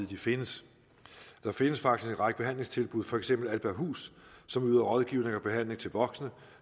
de findes der findes faktisk en række behandlingstilbud for eksempel albahus som yder rådgivning og behandling til voksne